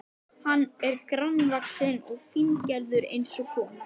Hann var grannvaxinn og fíngerður eins og kona.